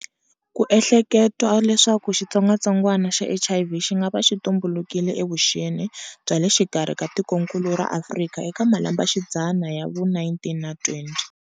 Ku ehleketwa leswaku xitsongwatsongwana xa HIV xingava xi tumbulukile evuxeni byale xikarhi ka tikonkulu ra Afrika eka malembexidzana ya vu 19 na 20.